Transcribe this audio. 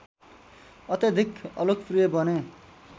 अत्याधिक अलोकप्रिय बने